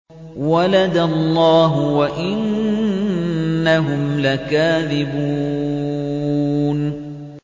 وَلَدَ اللَّهُ وَإِنَّهُمْ لَكَاذِبُونَ